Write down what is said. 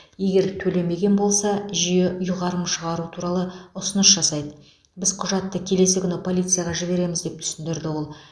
егер төлемеген болса жүйе ұйғарым шығару туралы ұсыныс жасайды біз құжатты келесі күні полицияға жібереміз деп түсіндірді ол